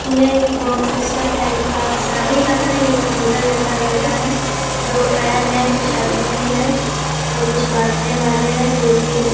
यह एक box system type का शादी का तो नहीं लेकिन होटल जैसा लग रहा है दो फैन हैं कुछ आदमी हैं और कुछ बाँटने वाले हैं जो कि --